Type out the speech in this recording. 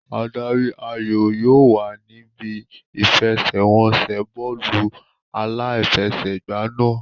Adarí ayò yóò wà níbí ìfẹsẹ̀wọnsẹ̀ bọ́ọ̀lù aláfẹsẹ̀gbá náà.